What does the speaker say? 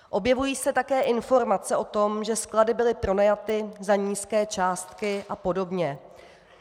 Objevují se také informace o tom, že sklady byly pronajaty za nízké částky a podobně.